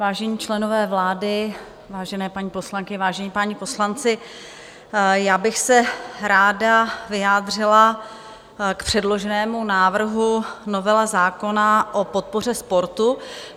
Vážení členové vlády, vážené paní poslankyně, vážení páni poslanci, já bych se ráda vyjádřila k předloženému návrhu novely zákona o podpoře sportu.